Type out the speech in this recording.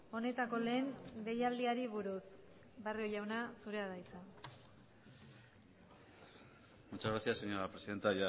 honetako lehen deialdiari buruz barrio jauna zurea da hitza muchas gracias señora presidenta